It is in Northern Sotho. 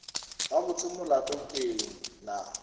gabotse molato ke eng na